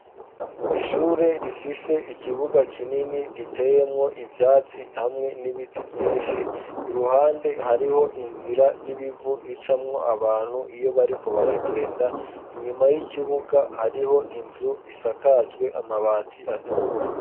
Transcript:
Ishure rifise ikibuga kinini giteyemwo ivyatsi hamwe n'ibiti vyinshi, iruhande hariho inzira y'ibivu icamwo abantu iyo bariko baragenda, inyuma y'ikibuga hariho inzu isakajwe amabati atukura.